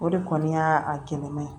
O de kɔni y'a kɛnɛma ye